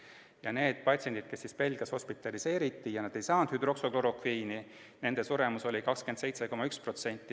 Seevastu nende patsientide suremus, kes Belgias hospitaliseeriti, kuid kes ei saanud hüdroksüklorokviini, oli 27,1%.